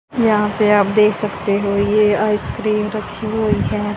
यहां पे आप देख सकते हो ये आइसक्रीम रखी हुई है।